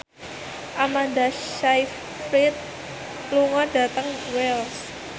Amanda Sayfried lunga dhateng Wells